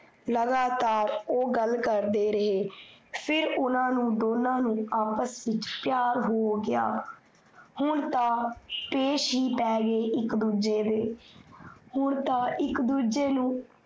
ਲਗਾਤਾਰ ਓਹ ਗੱਲ ਕਰਦੇ ਰਹੇ, ਫਿਰ ਓਹਨਾਂ ਨੂੰ ਦੋਨਾਂ ਨੂੰ ਆਪਸ ਵਿੱਚ ਪੀਆਰ ਹੋ ਗਇਆ। ਹੁਣ ਤਾ ਪੇਸ਼ ਹੀ ਪੈ ਗਏ ਇੱਕ ਦੂਜੇ ਦੇ ਹੁਣ ਤਾ ਇੱਕ ਦੂਜੇ ਨੂੰ